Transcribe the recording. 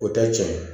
O tɛ tiɲɛ ye